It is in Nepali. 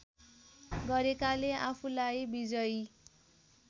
गरेकाले आफूलाई विजयी